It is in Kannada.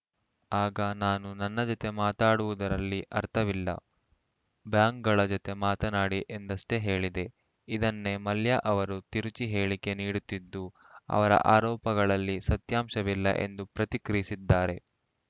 ಆಗ ನಾನು ನನ್ನ ಜತೆ ಮಾತಾಡುವುದರಲ್ಲಿ ಅರ್ಥವಿಲ್ಲ ಬ್ಯಾಂಕ್‌ಗಳ ಜತೆ ಮಾತನಾಡಿ ಎಂದಷ್ಟೇ ಹೇಳಿದೆ ಇದನ್ನೇ ಮಲ್ಯ ಅವರು ತಿರುಚಿ ಹೇಳಿಕೆ ನೀಡುತ್ತಿದ್ದು ಅವರ ಆರೋಪಗಳಲ್ಲಿ ಸತ್ಯಾಂಶವಿಲ್ಲ ಎಂದು ಪ್ರತಿಕ್ರಿಯಿಸಿದ್ದಾರೆ